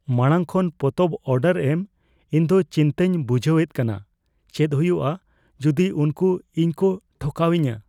ᱢᱟᱲᱟᱝ ᱠᱷᱚᱱ ᱯᱚᱛᱚᱵ ᱚᱰᱟᱨ ᱮᱢ ᱤᱧ ᱫᱚ ᱪᱤᱱᱛᱟᱹᱧ ᱵᱩᱡᱷᱟᱹᱣ ᱮᱫ ᱠᱟᱱᱟ, ᱪᱮᱫ ᱦᱩᱭᱩᱜᱼᱟ ᱡᱩᱫᱤ ᱩᱱᱠᱩ ᱤᱧ ᱠᱚ ᱴᱷᱚᱠᱟᱣ ᱤᱧᱟ ?